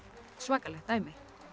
svakalegt dæmi